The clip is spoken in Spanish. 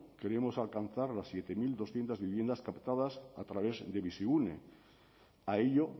queríamos alcanzar las siete mil doscientos viviendas captadas a través de bizigune a ello